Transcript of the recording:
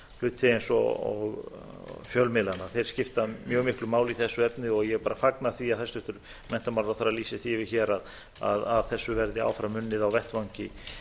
hluti eins og fjölmiðlana þeir skipta mjög miklu máli í þessu efni og ég bara fagna því að hæstvirtur menntamálaráðherra lýsi því yfir hér að að þessu verði áfram unnið á vettvangi